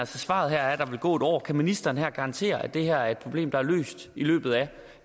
svaret her er at der vil gå et år kan ministeren her garantere at det her er et problem der er løst i løbet af